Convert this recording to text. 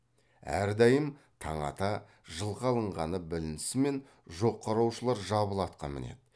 әрдайым таң ата жылқы алынғаны білінісімен жоқ қараушылар жабыла атқа мінеді